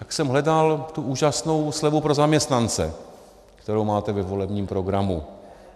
Tak jsem hledal tu úžasnou slevu pro zaměstnance, kterou máte ve volebním programu.